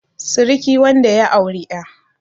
siriki wanda ya auri 'ya